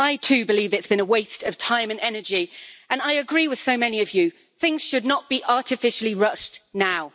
I, too, believe it's been a waste of time and energy, and I agree with so many of you that things should not be artificially rushed now.